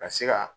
Ka se ka